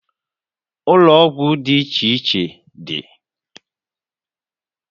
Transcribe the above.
Ụlọ ọgwụ dị iche iche dị